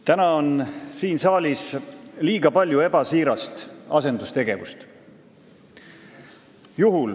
Täna on siin saalis liiga palju ebasiirast asendustegevust.